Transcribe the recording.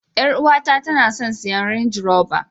Yar uwata tana son siyan range rober.